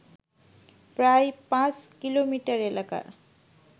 প্রায় পাঁচ কিলোমিটার এলাকা